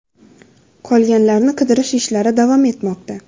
Qolganlarni qidirish ishlari davom etmoqda.